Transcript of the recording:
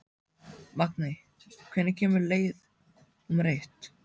Magney, hvenær kemur leið númer eitt?